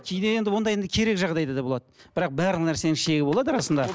кейде енді ондай енді керек жағдайда да болады бірақ барлық нәрсенің шегі болады расында